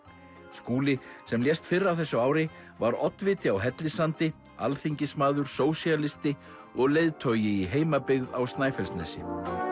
Skúli sem lést fyrr á þessu ári var oddviti á Hellissandi alþingismaður sósíalisti og leiðtogi í heimabyggð á Snæfellsnesi